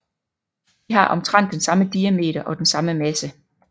De har omtrent den samme diameter og den samme masse